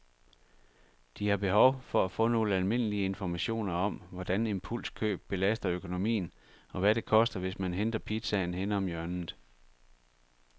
De har behov for at få nogle almindelige informationer om, hvordan impulskøb belaster økonomien, og hvad det koster, hvis man henter pizzaen henne om hjørnet.